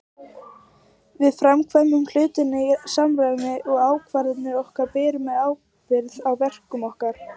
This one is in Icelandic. Við framkvæmum hlutina í samræmi við ákvarðanir okkar og berum ábyrgð á verkum okkar.